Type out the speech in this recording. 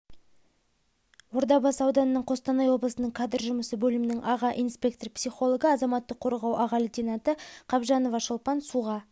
ордабасы ауданының қостанай облысының кадр жұмысы бөлімінің аға инспектор-психологы азаматтық қорғау аға лейтенанты қабжанова шолпан суға